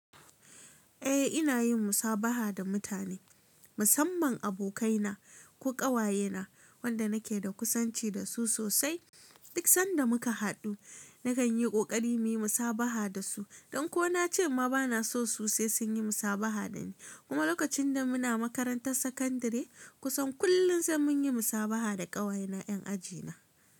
Eh, ina yin musabaha da mutane, musamman abokaina ko ƙawayena wanda nake da kusanci da su sosai. Duk sanda muka haɗu nakan yi ƙoƙari muyi musabaha da su. Dan ko na ce ma ba na so, su sai sun yi musabaha da ni. Kuma lokacin da muna makarantar sakandare, kusan kullum sai mun yi musabaha da ƙawayena ‘yan ajina.